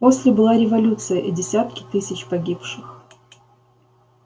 после была революция и десятки тысяч погибших